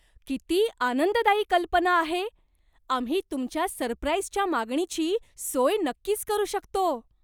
किती आनंददायी कल्पना आहे! आम्ही तुमच्या सरप्राईजच्या मागणीची सोय नक्कीच करू शकतो.